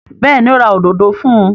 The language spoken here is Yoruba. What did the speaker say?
Bẹ́ẹ̀ni, ó ra òdodo fún un.